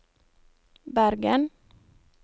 Bergen